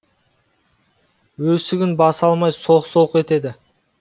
өксігін баса алмай солқ солқ етеді